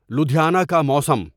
لدھیانا کا موسم